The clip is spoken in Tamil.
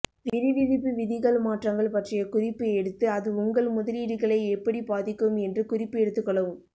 வரிவிதிப்பு விதிகள் மாற்றங்கள் பற்றிய குறிப்பு எடுத்து அது உங்கள் முதலீடுகளை எப்படிப் பாதிக்கும் என்று குறிப்பு எடுத்துக்கொள்ளவும்